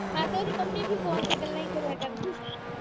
ਤੁਸੀਂ ਵੀ ਫੋਨ ਤੇ ਗੱਲਾਂ ਈ ਕਰਿਆ ਕਰਨੀਆਂ